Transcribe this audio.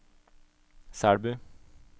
Selbu